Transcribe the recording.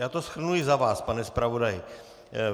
Já to shrnu i za vás, pane zpravodaji.